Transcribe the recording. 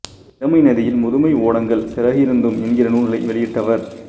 இளமை நதியில் முதுமை ஓடங்கள் சிறகிருந்தும் என்கிற நூல்களை வெளியிட்டவர்